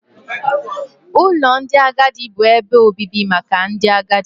Ụlọ ndị agadi bụ ebe obibi maka ndị agadi.